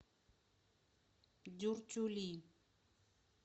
дюртюли